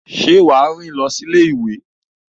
Ṣé o máa rìn lọ sí ilé-ìwé?